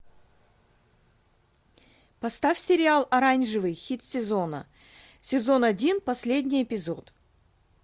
поставь сериал оранжевый хит сезона сезон один последний эпизод